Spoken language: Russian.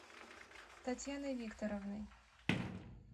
татьяной викторовной